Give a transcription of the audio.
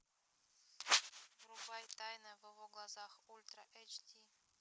врубай тайна в его глазах ультра эйч ди